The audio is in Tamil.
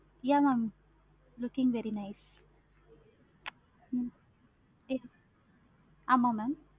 yeah mam looking very nice அப்படி கூட பண்ணலாம். ஆமா mam